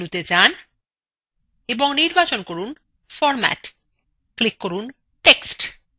main মেনুতে main এবং নির্বাচন করুন ফরম্যাট click করুন text